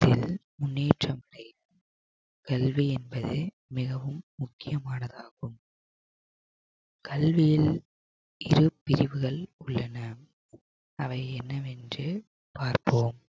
முன்னேற்றம் செய்யும் கல்வி என்பது மிகவும் முக்கியமானதாகும் கல்வியில் இரு பிரிவுகள் உள்ளன அவை என்னவென்று பார்ப்போம்